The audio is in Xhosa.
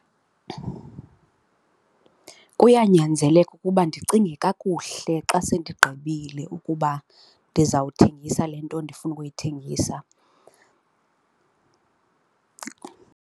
Kuyanyanzeleka ukuba ndicinge kakuhle xa sendigqibile ukuba ndizawuthengisa le nto ndifuna ukuyithengisa.